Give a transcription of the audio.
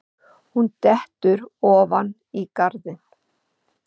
Hún dettur ofan í garðinn.